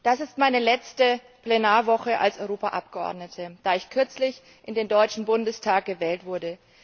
Das ist meine letzte Plenarwoche als Europaabgeordnete, da ich kürzlich in den Deutschen Bundestag gewählt wurde.